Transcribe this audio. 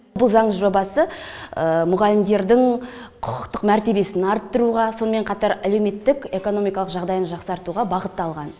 бұл заң жобасы мұғалімдердің құқықтық мәртебесін арттыруға сонымен қатар әлеуметтік экономикалық жағдайын жақсартуға бағытталған